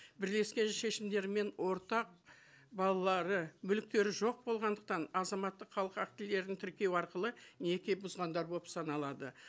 бірлескен шешімдері мен ортақ балалары мүліктері жоқ болғандықтан азаматтық халық актілерін тіркеу арқылы неке бұзғандар болып саналады